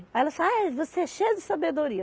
Aí ela disse, ah é você é cheia de sabedoria.